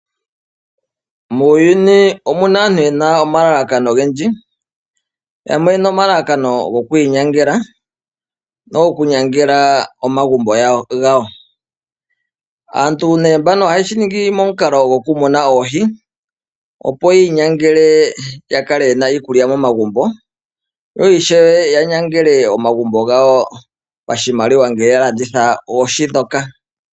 Muuyuni omu na aantu ye na omalakano ogendji. Yamwe oye na omalalakano goku inyangela nogoku nyangela omagumbo gawo. Aantu mbano ohaye shi ningi momukalo gokumuna oohi, opo yi inyangele ya kale ye na iikulya momagumbo yo ishewe ya nyangele omagumbo gawo pashimaliwa ngele ya landitha oohi ndhoka.